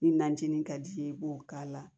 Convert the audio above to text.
Ni najinin ka di ye i b'o k'a la